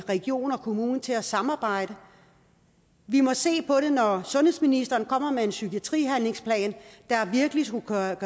region og kommune til at samarbejde vi må se på det når sundhedsministeren kommer med en psykiatrihandlingsplan der virkelig skulle gøre